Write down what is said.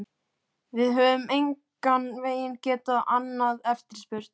Við höfum engan veginn getað annað eftirspurn.